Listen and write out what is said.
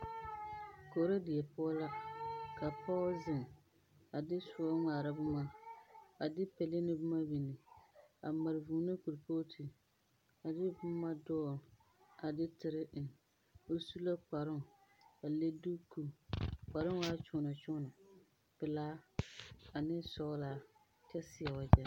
Koro die poɔ lɛ, ka pɔɔ zeŋ, a de soɔ ŋmara boma, a de pele ne boma binne. A mare vūū ne kolpɔɔte, a de boma dool, a de tere eŋ. O su la kparoŋ, a le duko, a kparoŋ waa kyoonakyoona pelaa ane sɔɔlaa kyɛ seɛ wagyɛ.